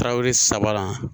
Tarawele sabanan